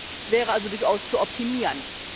Das wäre also durchaus zu optimieren.